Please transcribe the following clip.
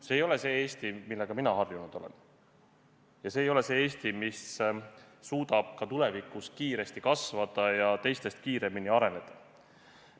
See ei ole see Eesti, millega mina harjunud olen, ja see ei ole see Eesti, mis suudab ka tulevikus kiiresti kasvada ja teistest kiiremini areneda.